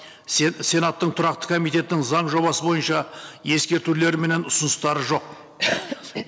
сенаттың тұрақты комитеттің заң жобасы бойынша ескертулері менен ұсыныстары жоқ